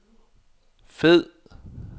fed